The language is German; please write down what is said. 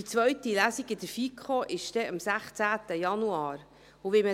Die zweite Lesung in der FiKo findet am 16. Januar statt.